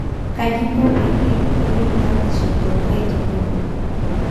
Kaji inko peyie iyiolou batisho toonkaitubulu